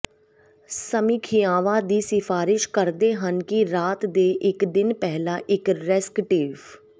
ਸਮੀਖਿਆਵਾਂ ਦੀ ਸਿਫਾਰਸ਼ ਕਰਦੇ ਹਨ ਕਿ ਰਾਤ ਦੇ ਇੱਕ ਦਿਨ ਪਹਿਲਾਂ ਇੱਕ ਰੇਸਕਟਿਵ